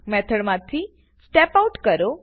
મેથડમાંથી step out કરો